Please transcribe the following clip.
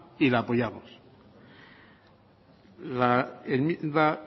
y la apoyamos la enmienda